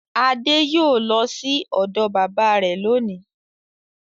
Adé yóò lọ sí ọ̀dọ̀ bábà rẹ̀ lónìí.